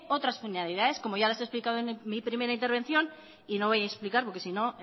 otras finalidades como ya les he explicado en mi primera intervención y no voy a explicar porque si no